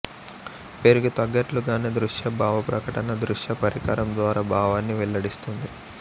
పేరుకి తగ్గట్లుగానే దృశ్య భావప్రకటన దృశ్య పరికరం ద్వారా భావాన్ని వెల్లడిస్తుంది